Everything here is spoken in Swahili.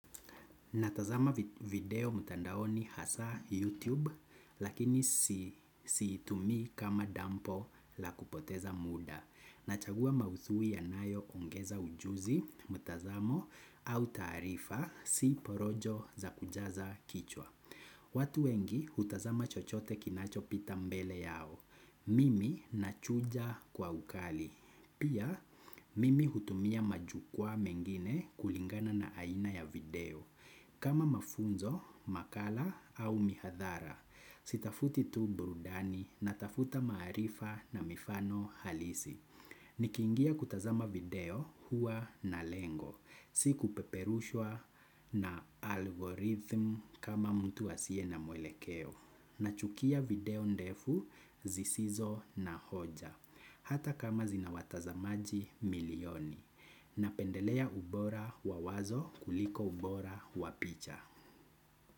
Natazama video mtandaoni hasaa YouTube, lakini siitumii kama dampo la kupoteza muda. Nachagua maudhui yanayoongeza ujuzi, mtazamo, au taarifa, si porojo za kujaza kichwa. Watu wengi hutazama chochote kinachopita mbele yao. Mimi nachuja kwa ukali. Pia, mimi hutumia majukwaa mengine kulingana na aina ya video. Kama mafunzo, makala au mihadhara, sitafuti tu burudani natafuta maarifa na mifano halisi. Nikiingia kutazama video huwa na lengo, si kupeperushwa na algorithm kama mtu asiye na mwelekeo. Nachukia video ndefu zisizo na hoja, hata kama zina watazamaji milioni. Napendelea ubora wa wazo kuliko ubora wa picha.